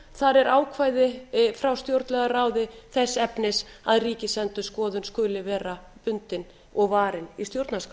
þar er ákvæði frá stjórnlagaráði þess efnis að ríkisendurskoðun skuli vera bundin og varin í stjórnarskrá